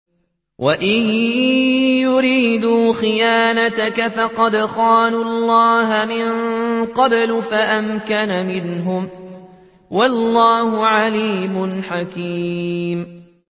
وَإِن يُرِيدُوا خِيَانَتَكَ فَقَدْ خَانُوا اللَّهَ مِن قَبْلُ فَأَمْكَنَ مِنْهُمْ ۗ وَاللَّهُ عَلِيمٌ حَكِيمٌ